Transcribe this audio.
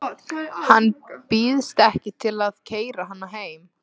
Hann býðst ekki til að keyra hana heim.